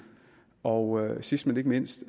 og sidst men ikke mindst